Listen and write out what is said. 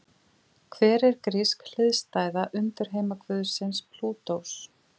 Hver er grísk hliðstæða undirheimaguðsins Plútós?